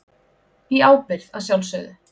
Í ábyrgð að sjálfsögðu.